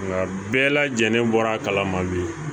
Nka bɛɛ lajɛlen bɔra a kalama bi